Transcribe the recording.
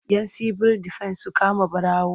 Yan sibil defen su kama ɓarawo.